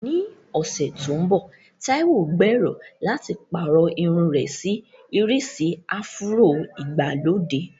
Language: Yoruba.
Ní ọ̀sẹ̀ tó ń bọ̀, Taiwo gbèrò láti pààrọ̀ irun rẹ̀ sí ìrísí áfúró ìgbàlódé.